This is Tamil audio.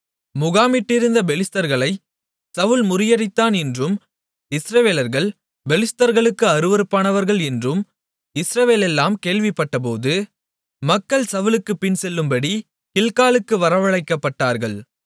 முகாமிட்டிருந்த பெலிஸ்தர்களைச் சவுல் முறியடித்தான் என்றும் இஸ்ரவேலர்கள் பெலிஸ்தர்களுக்கு அருவருப்பானார்கள் என்றும் இஸ்ரவேலெல்லாம் கேள்விப்பட்டபோது மக்கள் சவுலுக்குப் பின்செல்லும்படி கில்காலுக்கு வரவழைக்கப்பட்டார்கள்